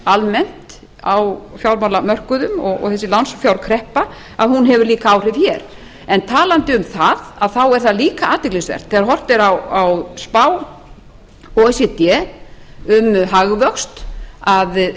almennt á fjármálamörkuðum og þessi lánsfjárkreppa hefur líka áhrif hér en talandi um það er það líka athyglisvert þegar horft er á spá o e c d um hagvöxt að